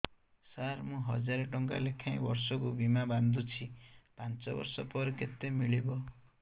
ସାର ମୁଁ ହଜାରେ ଟଂକା ଲେଖାଏଁ ବର୍ଷକୁ ବୀମା ବାଂଧୁଛି ପାଞ୍ଚ ବର୍ଷ ପରେ କେତେ ମିଳିବ